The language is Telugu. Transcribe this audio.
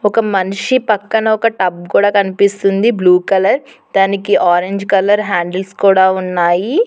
ఒక మనిషి పక్కన ఒక టబ్ కూడా కనిపిస్తుంది బ్లూ కలర్ దానికి ఆరెంజ్ కలర్ హ్యాండిల్స్ కూడా ఉన్నాయి.